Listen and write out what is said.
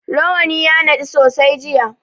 Rawani ya naɗu sosai jiya.